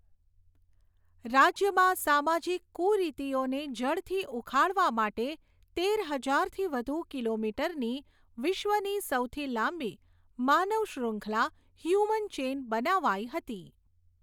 રાજ્યમાં સામાજિક કુરીતિઓને જડથી ઉખાડવા માટે તેર હજારથી વધુ કિલોમીટરની વિશ્વની સૌથી લાંબી માનવ શ્રૃખંલા, હ્યુમન ચેઇન બનાવાઈ હતી.